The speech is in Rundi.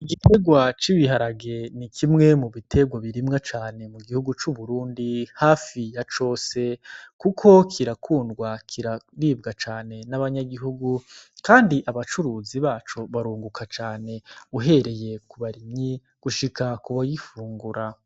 Igikurwa c'ibiharage ni kimwe mu biterwo birimwa cane mu gihugu c'uburundi hafi ya cose, kuko kirakundwa kiraribwa cane n'abanyagihugu, kandi abacuruzi baco barunguka cane uhereye kubarimyi gushika kubayifungura.